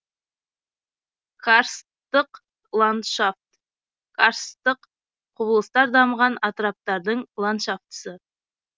карсттық ландшафт карсттық құбылыстар дамыған атыраптардың ландшафтысы